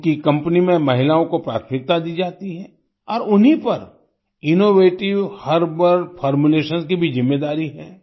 उनकी कंपनी में महिलाओं को प्राथमिकता दी जाती है और उन्हीं पर इनोवेटिव हर्बल फॉर्मुलेशंस की भी जिम्मेदारी है